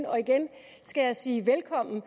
og igen skal jeg sige velkommen